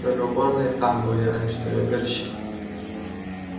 то ли уборные там были раньше то ли убежища